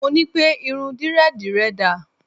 Mo ní pẹ́: irun Dírẹ́dìì rẹ dà?